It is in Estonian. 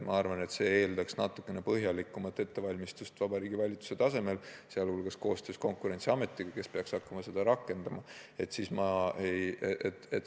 Ma arvan, et see eeldab üldse natukene põhjalikumat ettevalmistust Vabariigi Valitsuse tasemel, sh koostöös Konkurentsiametiga, kes peaks hakkama seda regulatsiooni rakendama.